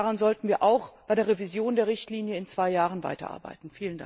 Daran sollten wir auch bei der Revision der Richtlinie in zwei Jahren weiterarbeiten.